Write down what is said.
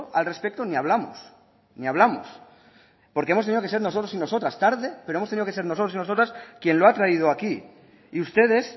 al respecto ni hablamos ni hablamos porque hemos tenido que ser nosotros y nosotras tarde pero hemos tenido que nosotros y nosotras quien lo ha traído aquí y ustedes